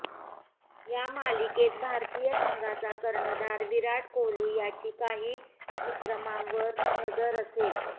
या मालिकेत भारतीय संघाचा कर्णधार विराट कोहली याची काही विक्रमांवर नजर असेल